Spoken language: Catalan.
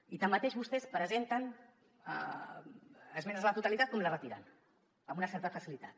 i tanmateix vostès presenten esmenes a la totalitat com les retiren amb una certa facilitat